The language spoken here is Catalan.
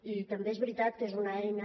i també és veritat que és una eina